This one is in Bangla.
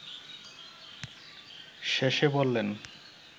শেষে বললেন